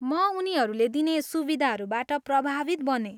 म उनीहरूले दिने सुविधाहरूबाट प्रभावित बनेँ।